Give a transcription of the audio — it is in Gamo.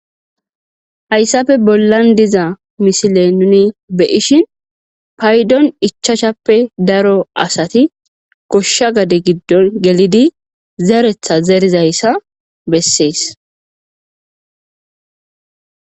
Hayssappe bollani diza misilen nuni be'ishin.paydon ichashape daro asati gosha gade giddon gelidi zereta zerida iza besses.